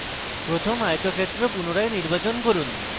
প্রথম আয়তক্ষেত্র পুনরায় নির্বাচন করুন